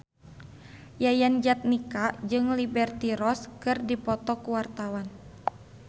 Yayan Jatnika jeung Liberty Ross keur dipoto ku wartawan